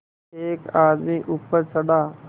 एक आदमी ऊपर चढ़ा